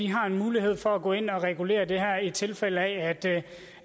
har en mulighed for at gå ind og regulere det her i tilfælde af